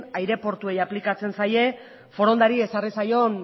aireportuei aplikatzen zaie forondari ezarri zaion